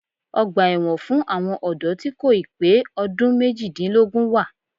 Ọgbà ẹ̀wọ̀n fún àwọn ọ̀dọ́ tí kò ì pé ọdún méjìdínlógún wà